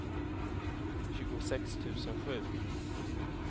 tjugosex tusen sju